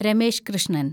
Ramesh Krishnan